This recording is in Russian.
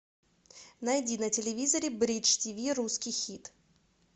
найди на телевизоре бридж тиви русский хит